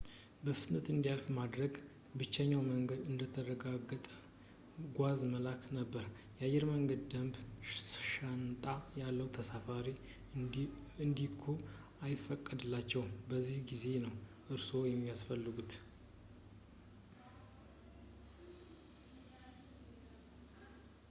በፍጥነት እንዲያልፍ ለማድረግ ብቸኛው መንገድ እንደተረጋገጠ ጓዝ መላክ ነበር የአየር መንገድ ደንብ ሻንጣ ያለ ተሳፋሪ እንዲልኩ አይፈቅድላቸውም በዚህ ጊዜ ነው እርስዎ የሚያስፈልጉት